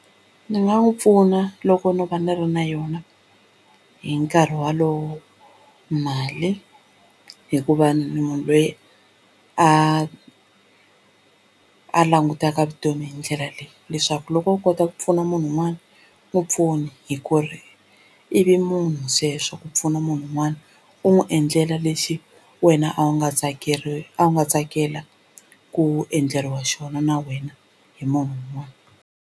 Ndzi nga n'wi pfuna loko no va ni ri na yona hi nkarhi walowo mali hikuva ndzi munhu loyi a a langutaka vutomi hi ndlela leyi leswaku loko u kota ku pfuna munhu un'wana n'wu pfuni hi ku ri i vumunhu sweswo ku pfuna munhu un'wana u n'wi endlela lexi wena a wu nga a wu nga tsakela ku endleriwa xona na wena hi munhu un'wana.